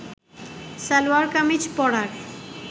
সালোয়ার কামিজ পরার